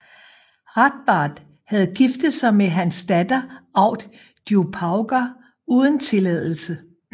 Ráðbarðr havde giftet sig med hans datter Aud Djupauga uden tilladelse